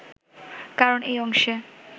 কারণ এই অংশে